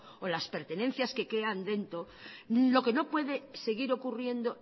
o las pertenencias que quedan dentro lo que no puede seguir ocurriendo